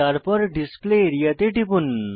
তারপর display area তে টিপুন